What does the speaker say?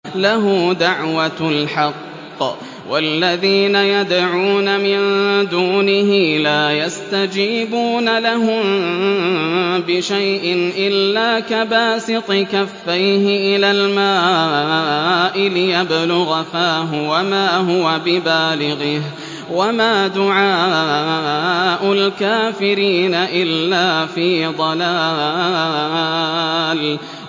لَهُ دَعْوَةُ الْحَقِّ ۖ وَالَّذِينَ يَدْعُونَ مِن دُونِهِ لَا يَسْتَجِيبُونَ لَهُم بِشَيْءٍ إِلَّا كَبَاسِطِ كَفَّيْهِ إِلَى الْمَاءِ لِيَبْلُغَ فَاهُ وَمَا هُوَ بِبَالِغِهِ ۚ وَمَا دُعَاءُ الْكَافِرِينَ إِلَّا فِي ضَلَالٍ